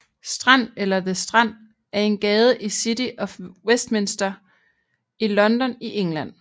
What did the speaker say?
Strand eller the Strand er en gade i City of Westminster i London i England